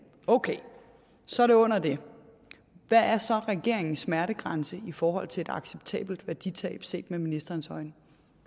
okay så er det under det hvad er så regeringens smertegrænse i forhold til et acceptabelt værditab set med ministerens øjne